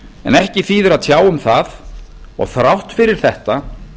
en ekki þýðir að tjá um það og þrátt fyrir þetta